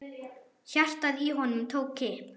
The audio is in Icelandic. Hjartað í honum tók kipp.